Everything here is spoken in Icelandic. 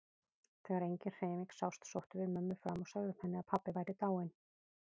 Þegar engin hreyfing sást sóttum við mömmu fram og sögðum henni að pabbi væri dáinn.